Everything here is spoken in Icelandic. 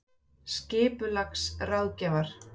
Stuðlar geta myndast þegar basaltkvika kólnar.